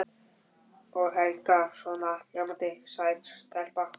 Og Helga svona ljómandi sæt stelpa.